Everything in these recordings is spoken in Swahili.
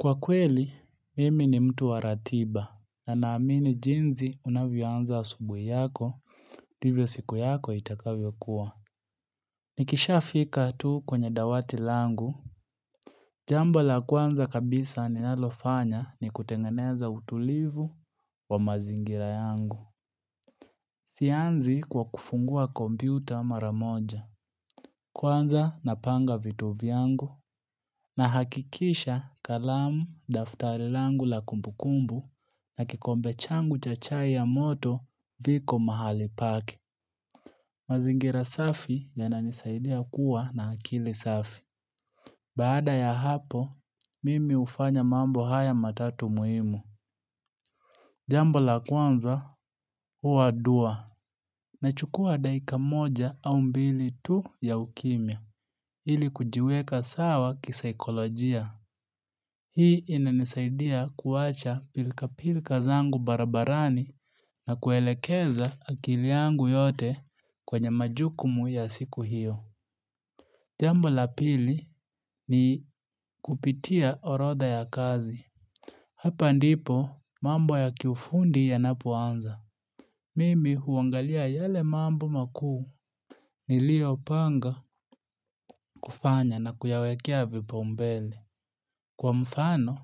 Kwakweli mimi ni mtu wa ratiba, na naamini jinsi unavyoanza asubuhi yako ndivyo siku yako itakavyo kuwa Nikishafika tu kwenye dawati langu, jambo la kwanza kabisa ni ninalofanya ni kutengeneza utulivu wa mazingira yangu Sianzi kwa kufungua komputa mara moja Kwanza napanga vitu yangu, nahakikisha kalamu, daftari langu la kumbukumbu na kikombe changu cha chai ya moto viko mahali pake. Mazingira safi yananisaidia kuwa na akili safi. Baada ya hapo, mimi hufanya mambo haya matatu muhimu. Jambo la kwanza, huwa dua. Nachukua dakika moja au mbili tu ya ukimya. Ili kujiweka sawa kisaikolojia. Hii inanisaidia kuwacha pilkapilka zangu barabarani na kuelekeza akili yangu yote kwenye majukumu ya siku hiyo. Jambo la pili ni kupitia orodha ya kazi. Hapa ndipo mambo ya kiufundi yanapoanza. Mimi huangalia yale mambo makuu niliopanga kufanya na kuyawekea vipaumbele. Kwa mfano,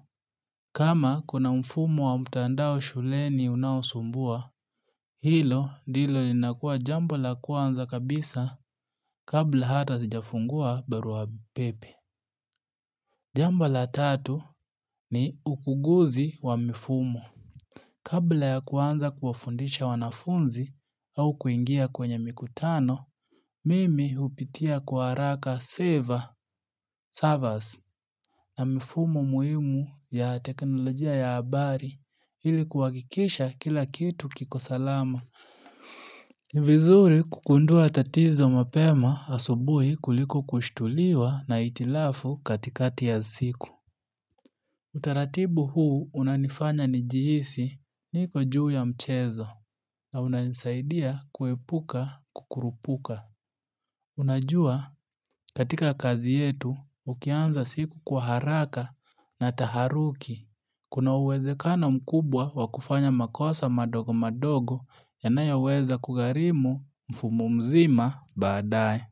kama kuna mfumo wa mtandao shuleni unaosumbua, hilo ndilo linakuwa jambo la kwanza kabisa kabla hata sijafungua barua pepe. Jambla tatu ni ukuguzi wa mfumo. Kabla ya kuanza kuwafundisha wanafunzi au kuingia kwenye mikutano, mimi hupitia kwa haraka saver servers, na mifumo muhimu ya teknolojia ya habari ili kuhakikisha kila kitu kiko salama. Ni vizuri kugundua tatizo mapema asubuhi kuliko kushtuliwa na hitilafu katikati ya siku. Utaratibu huu unanifanya nijihisi niko juu ya mchezo na unanisaidia kuepuka kukurupuka. Unajua katika kazi yetu ukianza siku kwa haraka na taharuki. Kuna uwezekano mkubwa wakufanya makosa madogo madogo yanayoweza kugharimu mfumu mzima baadaye.